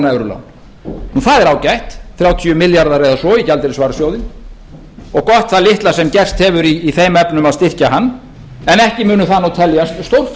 evrulán það er ágætt þrjátíu milljarðar eða svo í gjaldeyrisvarasjóði og gott það litla sem gerst hefur í þeim efnum að styrkja hann en ekki munu það teljast stórfréttir að ég